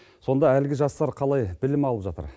сонда әлгі жастар қалай білім алып жатыр